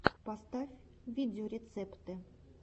поставь видеорецепты